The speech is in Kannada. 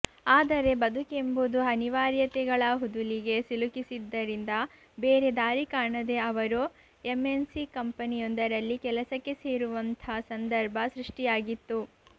ಆದರೆ ಬದುಕೆಂಬುದು ಅನಿವಾರ್ಯತೆಗಳ ಹುದುಲಿಗೆ ಸಿಲುಕಿಸಿದ್ದರಿಂದ ಬೇರೆ ದಾರಿ ಕಾಣದೆ ಅವರು ಎಂಎನ್ಸಿ ಕಂಪೆನಿಯೊಂದರಲ್ಲಿ ಕೆಲಸಕ್ಕೆ ಸೇರುವಂಥಾ ಸಂದರ್ಭ ಸೃಷ್ಟಿಯಾಗಿತ್ತು